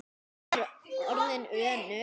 Hún er orðin önug.